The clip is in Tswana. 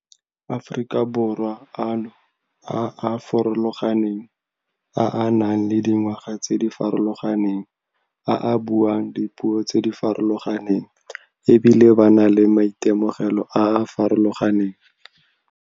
Aforika Borwa ano a a farologaneng, a a nang le dingwaga tse di farologaneng, a a buang dipuo tse di farologaneng e bile ba na le maitemogelo a a farologaneng.